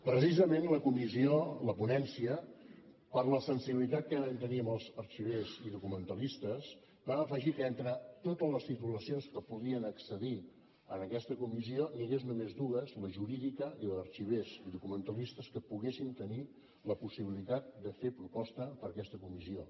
precisament la comissió la ponència per la sensibilitat que vam tenir amb els arxivers i documentalistes vam afegir que entre totes les titulacions que podien accedir a aquesta comissió n’hi hagués només dues la jurídica i la d’arxivers i documentalistes que poguessin tenir la possibilitat de fer proposta per a aquesta comissió